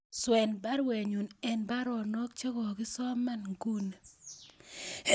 Swen baruenyun en baruonok chegoasoman nguni